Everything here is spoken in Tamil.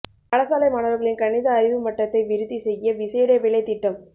பாடசாலை மாணவர்களின் கணித அறிவு மட்டத்தை விருத்தி செய்ய விசேட வேலைத்திட்டம்